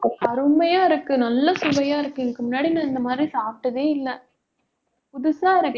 அருமையா இருக்கு நல்ல சுவையா இருக்கு இதுக்கு முன்னாடி நான் இந்த மாதிரி சாப்பிட்டதே இல்லை. புதுசா இருக்கு